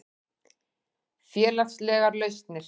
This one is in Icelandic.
Félagslegar lausnir